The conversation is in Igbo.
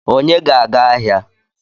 Onye ga-aga ahịa?